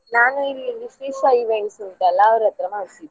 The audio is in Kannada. ಆ ನಾನು ಇಲ್ಲಿ ಶ್ರೀಶ events ಉಂಟಲ್ಲ ಅವ್ರತ್ರ ಮಾಡಿಸಿದ್ದು.